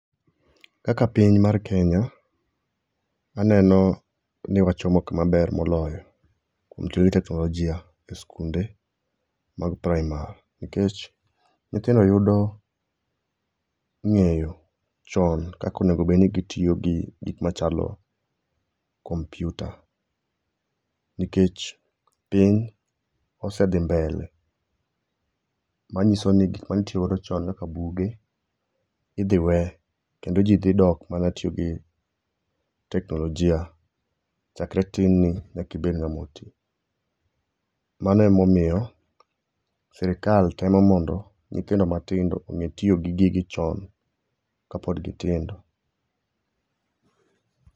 Kaka piny mar Kenya aneno ni wachomo kuma ber moloyo e keto teknolojia e skund emag praimar nikech nyithindo yudo ngeyo chon kaka onego obed ni gitiyo gi gik machalo kompyuta, nikech piny osedhi mbele manyiso ni gik mane itiyo go chon kaka buge idhi wee kendo jii dhi dok mana tiyo gi teknolojia chakre tin ni nyaka ibed ngama otii. Mano ema omiyo sirkal temo mondo nyithindo matindo onge tiyo gi gigi chon kabod gitindo